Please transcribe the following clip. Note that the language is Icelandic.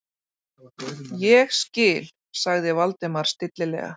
Ég skil- sagði Valdimar stillilega.